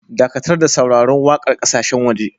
Dakatar da sauraron waƙar ƙasashen waje.